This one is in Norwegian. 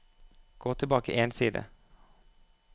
Gå tilbake én side